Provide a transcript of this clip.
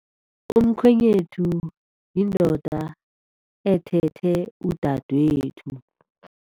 Umkhwenyethu yindoda ethethe udadwethu.